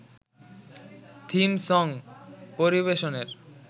theme song পরিবেশনের